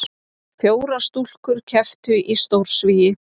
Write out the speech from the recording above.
Fjórar stúlkur kepptu í stórsvigi